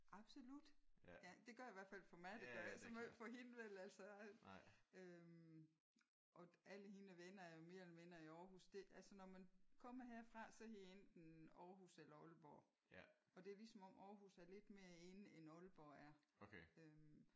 Absolut. Det gør det i hvert fald for mig. Det gør det ikke så meget for hende vel altså. Øh og alle hende og vennerne er jo mere eller mindre i Aarhus. Det altså når man kommer herfra så enten Aarhus eller Aalborg. Og det er ligesom om Aarhus er lidt mere in end Aalborg er